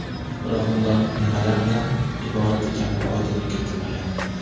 Biroq ular nimalardan iborat ekaniga oydinlik kiritilmagan.